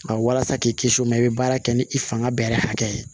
Nka walasa k'i kisi o ma i bɛ baara kɛ ni i fanga bɛrɛ hakɛ ye